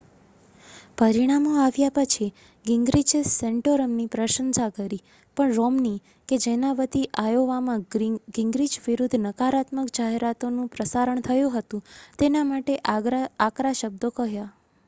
પરિણામો આવ્યા પછી ગિંગ્રિચે સૅન્ટોરમની પ્રશંસા કરી પણ રૉમ્ની કે જેના વતી આયોવામાં ગિંગ્રિચ વિરુદ્ધ નકારાત્મક જાહેરાતોનું પ્રસારણ થયું હતું તેના માટે આકરા શબ્દો કહ્યા